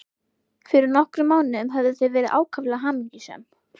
Fyrir nokkrum mánuðum höfðu þau verið ákaflega hamingjusöm.